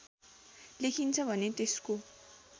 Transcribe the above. लेखिन्छ भने त्यसको